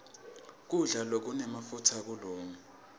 kudla lokunemafutsa akukalungi